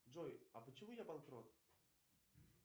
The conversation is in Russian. джой а почему я банкрот